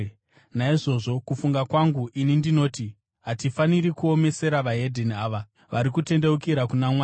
“Naizvozvo, kufunga kwangu ini ndinoti hatifaniri kuomesera veDzimwe Ndudzi ava vari kutendeukira kuna Mwari.